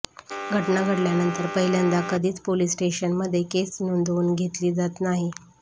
घटना घडल्यानंतर पहिल्यांदा कधीच पोलीस स्टेशनमध्ये केस नोंदवून घेतली जात नाही